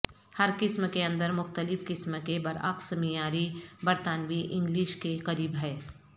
ہر قسم کے اندر مختلف قسم کے برعکس معیاری برتانوی انگلش کے قریب ہے